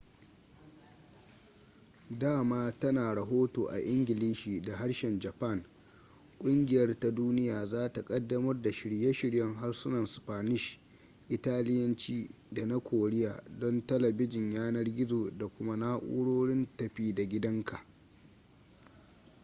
dama tana rahoto a ingilishi da harshen japan ƙungiyar ta duniya za ta ƙaddamar da shirye-shiryen harsunan spanish italiyanci da na koriya don talabijin yanar-gizo da kuma na'urorin tafi-da-gidanka